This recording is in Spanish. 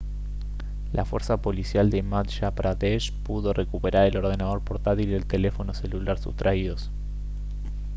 la fuerza policial de madhya pradesh pudo recuperar el ordenador portátil y el teléfono celular sustraídos